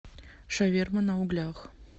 шаверма на углях